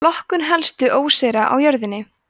flokkun helstu óseyra á jörðinni